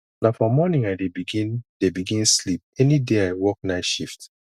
na for morning i dey begin dey begin sleep any day i work night shift